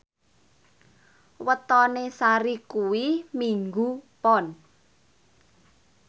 wetone Sari kuwi Minggu Pon